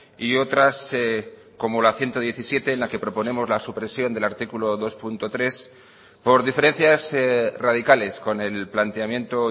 y otras como la ciento diecisiete en la que proponemos la supresión del artículo dos punto tres por diferencias radicales con el planteamiento